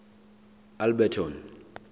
alberton